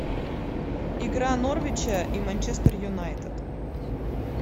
игра норвича и манчестер юнайтед